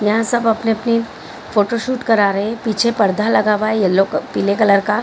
यहाँ सब अपने-अपनी फोटो शूट करा रहे हैं पीछे पर्दा लगा हुआ है येलो पीले कलर का --